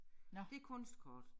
Det kunstkort